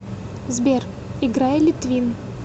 сбер играй литвин